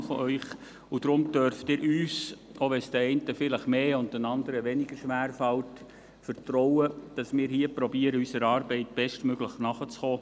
Deshalb dürfen Sie uns vertrauen – auch wenn es den einen vielleicht mehr und den anderen weniger schwer fällt –, dass wir hier versuchen, unserer Arbeit bestmöglichst nachzukommen.